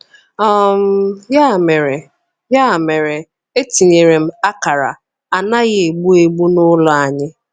um Ya mere, Ya mere, etinyere m akara 'Anaghị Egbu Egbu' n'ụlọ anyị.